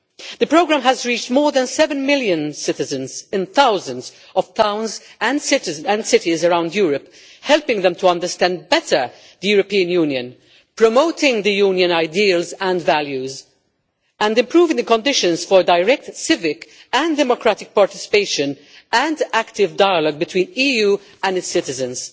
The programme has reached more than seven million citizens in thousands of towns and cities around Europe, helping them to better understand the European Union, promoting the Union's ideals and values, and improving the conditions for direct civic and democratic participation and active dialogue between the EU and its citizens.